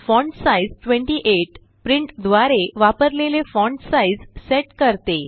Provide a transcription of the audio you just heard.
font size 28 print द्वारे वापरलेले font size set करते